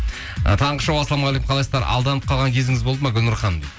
ы таңғы шоу ассалаумағалейкум қалайсыздар алданым қалған кезіңіз болды ма гүлнұр ханым дейді